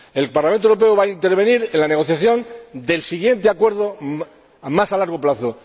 El Parlamento Europeo va a intervenir en la negociación del siguiente acuerdo a más largo plazo.